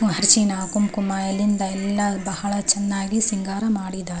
ಅರಸಿನ ಕುಂಕುಮ ಇಲ್ಲಿಂದ ಎಲ್ಲ ಬಹಳ ಚೆನ್ನಾಗಿ ಸಿಂಗಾರ ಮಾಡಿದ್ದಾರೆ.